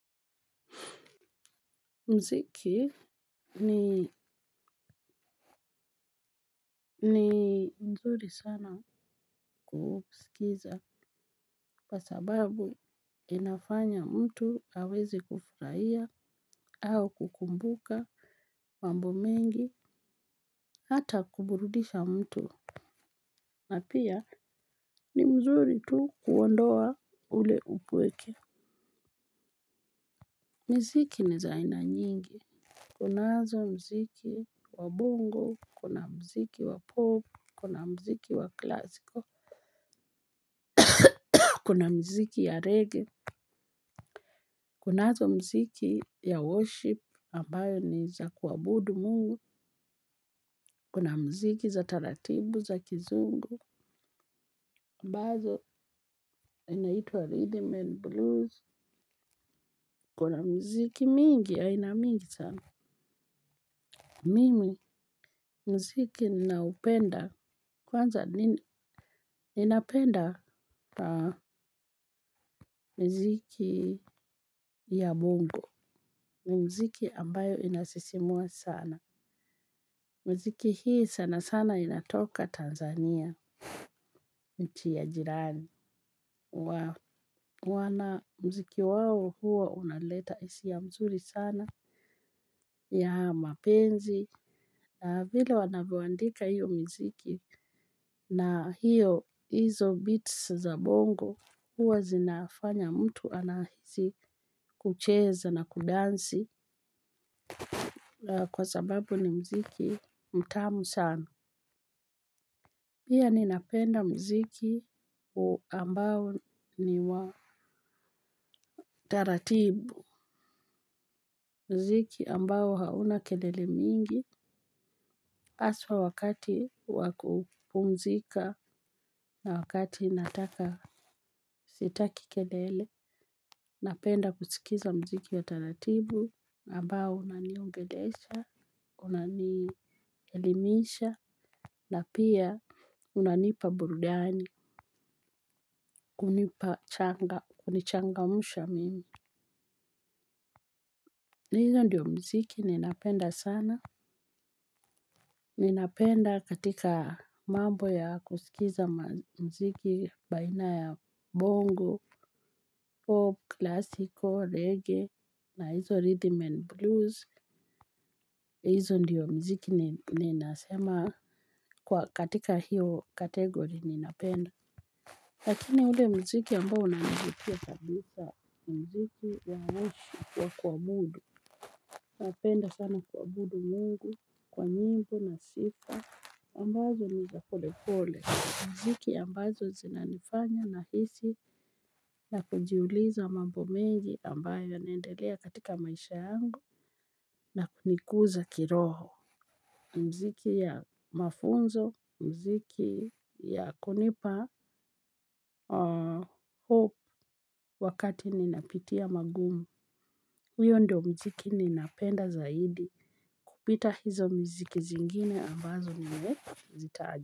Mziki ni mzuri sana kusikiza kwa sababu inafanya mtu aweze kufurahia au kukumbuka mambo mengi hata kuburudisha mtu. Na pia ni mzuri tu kuondoa ule upweke. Mziki ni zaina nyingi, kunazo mziki wabongo, kuna mziki wapop, kuna mziki wa klasiko. Kuna mziki ya reggae, kunazo mziki ya worship ambayo ni za kuabudu mungu, kuna mziki za taratibu za kizungu, ambazo inaitwa rhythm and blues, kuna mziki mingi aina mingi sana. Mimi mziki na upenda, kwanza ninapenda mziki ya mungu, ni mziki ambayo inasisimua sana. Mziki hii sana sana inatoka Tanzania, inchi ya jirani. Mziki wao huwa unaleta hisia mzuri sana, ya mapenzi. Vile wanavo andika hiyo mziki na hiyo, hizo beats za bongo, huwa zinafanya mtu anahisi kucheza na kudansi kwa sababu ni mziki mtamu sana. Pia ninapenda mziki ambao ni wa taratibu. Mziki ambao hauna kelele mingi. Haswa wakati wa kupumzika na wakati nataka, sitaki kelele. Napenda kusikiza mziki wa taratibu ambao unaniongelesha, unanielimisha na pia unanipa burudani, kunichangamsha mimi. Hizo ndio mziki ninapenda sana. Ninapenda katika mambo ya kusikiza mziki baina ya bongo, pop, klasiko, reggae na hizo rhythm and blues hizo ndio mziki ninasema katika hio category ninapenda. Lakini ule mziki ambao unanivutia kabisa ni mziki wa worship wa kuabudu. Napenda sana kuabudu mungu kwa nyimbo na sifa, ambazo ni za pole pole. Mziki ambazo zinanifanya nahisi na kujiuliza mambo mengi ambayo yanaendelea katika maisha yangu na kunikuza kiroho. Mziki ya mafunzo, mziki ya kunipa hope wakati ni napitia magumu. Huyo ndio mziki ni napenda zaidi. Kupita hizo miziki zingine ambazo nime zitaja.